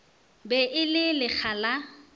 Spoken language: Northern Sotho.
be e le lekga la